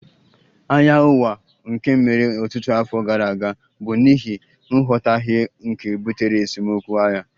Agha Ụwa nke mere ọtụtụ afọ gara aga bụ n'ihi nghọtahie nke butere esemokwu (agha)